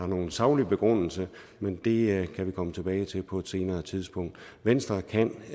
nogen saglig begrundelse men det kan vi komme tilbage til på et senere tidspunkt venstre kan